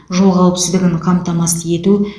жол қауіпсіздігін қамтамасыз ету